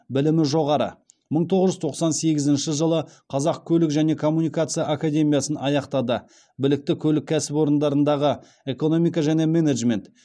білімі жоғары мың тоғыз жүз тоқсан сегізінші жылы қазақ көлік және коммуникация академиясын аяқтады білікті көлік кәсіпорындарындағы экономика және менеджмент